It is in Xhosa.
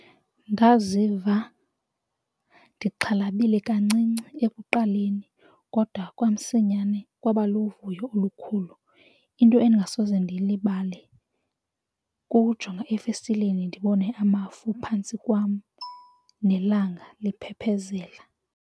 Ndaziva ndixhalabile kancinci ekuqaleni kodwa kwamsinyane kwaba luvuyo olukhulu. Into endingasoze ndiyilibale kukujonga efestileni ndibone amafu phantsi kwam nelanga liphephezela.